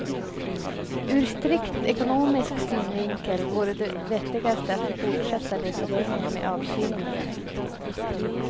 Ur strikt ekonomisk synvinkel vore det vettigaste att fortsätta lite längre med avkylningen.